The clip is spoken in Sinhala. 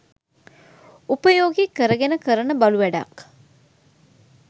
උපයෝගී කරගෙන කරන බලු වැඩක්..